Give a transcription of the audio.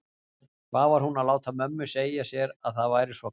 Hvað var hún að láta mömmu segja sér að það væri svo kalt?